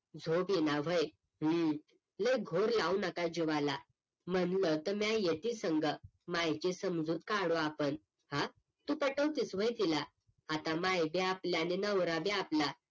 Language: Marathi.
झोप येईना व्हय हम्म लई घोर लागू नका जीवाला म्हणलं तर म्या येते संग मायची समजूत काढू आपण हा तू पटवतेस व्हय तिला आता माय भी आपल आणि नवरा भी आपला